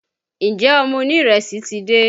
Ǹjẹ́ ọmọ onírẹsì ti dé?